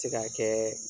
Se ka kɛ